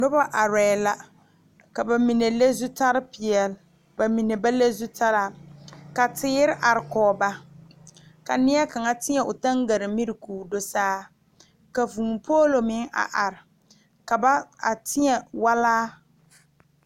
Nobɔ arɛɛ la ka ba mine le zutare peɛle ba mine ba le zutaraa ka teere are kɔge ba ka neɛ kaŋa teɛ o taŋgaramiri koo do saa ka vūū poolo meŋ are ka ba a teɛ walaa.